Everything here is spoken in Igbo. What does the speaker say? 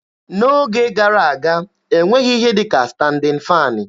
N'oge gara aga, e nweghị ihe dị ka standịn faanị